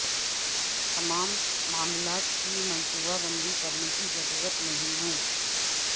تمام معاملات کی منصوبہ بندی کرنے کی ضرورت نہیں ہے